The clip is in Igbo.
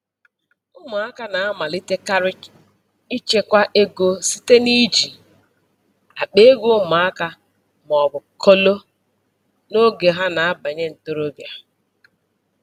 Ụmụaka na-amalitekarị ịchekwa ego site n’iji akpa ego ụmụaka ma ọ bụ kolo n’oge ha na-abanye ntorobịa.